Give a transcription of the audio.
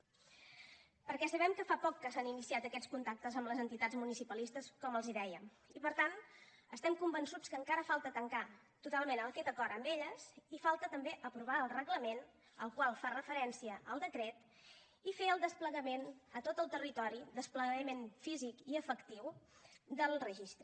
perquè sabem que fa poc que s’han iniciat aquests contactes amb les entitats municipalistes com els dèiem i per tant estem convençuts que encara falta tancar totalment aquest acord amb elles i falta també aprovar el reglament al qual fa referència el decret i fer el desplegament a tot el territori desplegament físic i efectiu del registre